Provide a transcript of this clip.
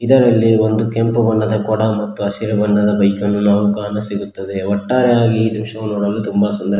ಇದರಲ್ಲಿ ಒಂದು ಕೆಂಪು ಬಣ್ಣದ ಕೊಡ ಮತ್ತು ಹಸಿರು ಬಣ್ಣದ ಬೈಕನ್ನು ನಾವು ಕಾಣಸಿಗುತ್ತದೆ ಒಟ್ಟಾರೆಯಾಗಿ ಈ ದೃಶ್ಯವನ್ನು ನೋಡಲು ತುಂಬ ಸುಂದರ--